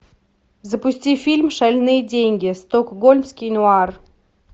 запусти фильм шальные деньги стокгольмский нуар